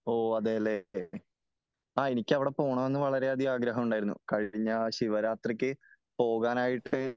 ഓഹ് അതേ അല്ലേ . ആ എനിക്ക് അവിടെ പോകണമെന്ന് വളരെ അധികം ആഗ്രഹമുണ്ടായിരുന്നു . കഴിഞ്ഞശിവരാത്രിക്ക് പോകാനായിട്ട്